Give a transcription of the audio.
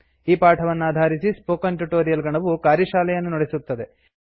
ಈ ಪಾಠವನ್ನಾಧಾರಿಸಿ spoken tutorial ಗಣವು ಕಾರ್ಯಶಾಲೆಯನ್ನು ನಡೆಸುತ್ತದೆ